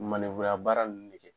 ya baara ninnu de kɛ